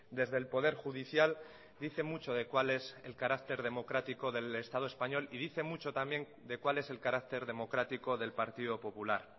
desde el poder judicial dice mucho de cuál es el carácter democrático del estado español y dice mucho también de cuál es el carácter democrático del partido popular